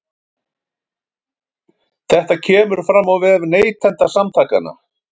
Þetta kemur fram á vef Neytendasamtakanna